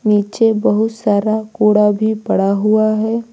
नीचे बहुत सारा कूड़ा भी पड़ा हुआ है।